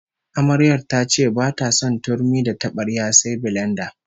Amaryar ta ce bata son turmi da tabarya sai bilenda